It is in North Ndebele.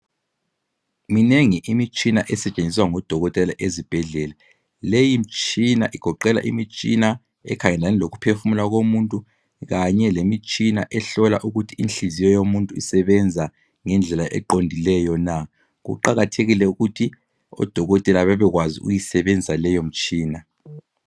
Minengi imitshina esetshenziswa ngodokotela ezibhedlela. Leyi mitshina igoqela imitshina ekhangelane lokuphefumula komuntu kanye lemitshina ehlola ukuthi inhliziyo yomuntu isebenza ngendlela eqondileyo na. Kuqakathekile ukuthi odokotela bebekwazi ukuyisebenzisa leyo mitshina.